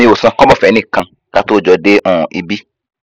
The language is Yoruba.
mi ò san kọbọ fẹnìkan ká tóó jọ dé um ibi